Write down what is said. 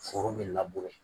Foro bɛ